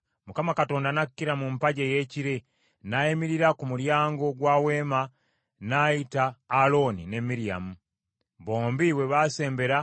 Mukama Katonda n’akkira mu mpagi ey’ekire, n’ayimirira ku mulyango gwa Weema n’ayita Alooni ne Miryamu. Bombi bwe baasembera